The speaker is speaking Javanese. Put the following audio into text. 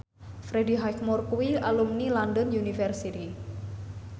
Freddie Highmore kuwi alumni London University